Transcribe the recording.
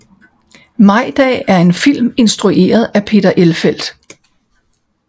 Majdag er en film instrueret af Peter Elfelt